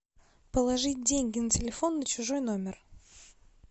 положить деньги на телефон на чужой номер